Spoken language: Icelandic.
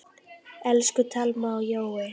Elsku Thelma og Jói.